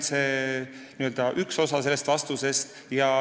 See on üks osa vastusest.